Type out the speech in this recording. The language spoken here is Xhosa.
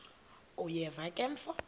uyeva ke mfo